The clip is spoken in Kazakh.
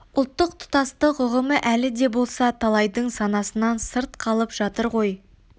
ұлттық тұтастық ұғымы әлі де болса талайдың санасынан сырт қалып жатыр ғой